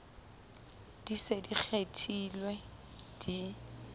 di se di kgethilwe di